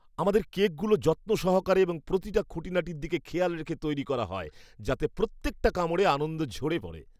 আমাদের কেকগুলো যত্ন সহকারে এবং প্রতিটা খুঁটিনাটির দিকে খেয়াল রেখে তৈরি করা হয় যাতে প্রত্যেকটা কামড়ে আনন্দ ঝরে পড়ে।